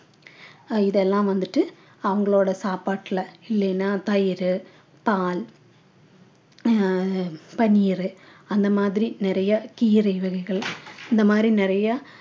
அஹ் இதெல்லாம் வந்துட்டு அவங்களோட சாப்பாட்டில இல்லைன்னா தயிர் பால் அஹ் பன்னீரு அந்த மாதிரி நிறைய கீரை வகைகள் இந்த மாதிரி நிறைய